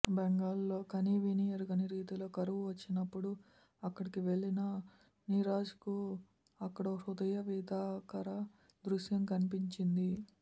బెంగాల్లో కనీవినీ ఎరుగని రీతిలో కరువు వచ్చినప్పుడు అక్కడికి వెళ్లిన నీరజ్కు అక్కడో హృదయవిదారక దృశ్యం కన్పించింది